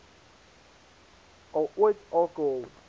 al ooit alkohol